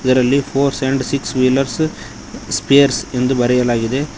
ಇದರಲ್ಲಿ four and six wheelers spares ಎಂದು ಬರೆಯಲಾಗಿದೆ.